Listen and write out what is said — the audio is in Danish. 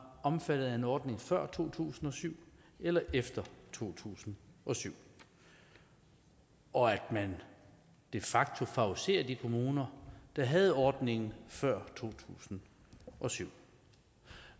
omfattet af en ordning før to tusind og syv eller efter to tusind og syv og at man de facto favoriserer de kommuner der havde ordningen før to tusind og syv